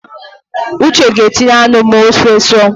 Uche ga-etinye anụ ma ofe sụọ